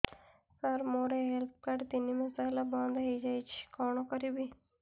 ସାର ମୋର health card ତିନି ମାସ ହେଲା ବନ୍ଦ ହେଇଯାଇଛି କଣ କରିବି